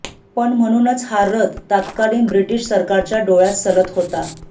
पण म्हणूनच हा रथ तत्कालीन ब्रिटिश सरकारच्या डोळ्यात सलत होता